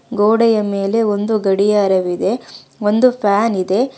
ಗೋಡೆಯ ಮೇಲೆ ಒಂದು ಗಡಿಯಾರವಿದೆ ಒಂದು ಫ್ಯಾನ್ ಇದೆ.